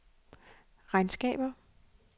regnskaber